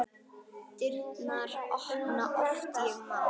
Dyrnar opna oft ég má.